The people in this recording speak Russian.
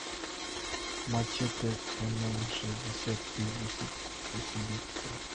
мачете мм шестьдесят без усилителя